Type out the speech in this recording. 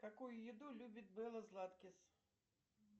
какую еду любит белла златкис